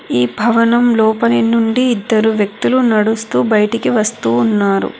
ఈ భవనం లోపల నుండి ఇద్దరు వ్యక్తిలు నడుస్తూ బయటికి వస్తు ఉన్నారు.